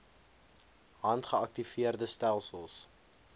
hand geaktiveerde stelsels